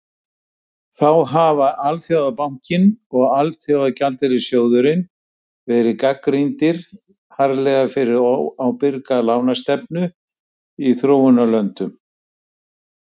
Þá hafa Alþjóðabankinn og Alþjóðagjaldeyrissjóðurinn verið gagnrýndir harðlega fyrir óábyrga lánastefnu í þróunarlöndum.